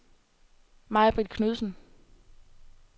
Majbrit Knudsen